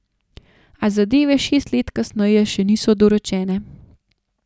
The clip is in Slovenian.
A zadeve šest let kasneje še niso dorečene.